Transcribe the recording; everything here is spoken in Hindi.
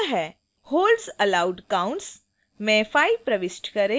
holds allowed count में 5 प्रविष्ट करें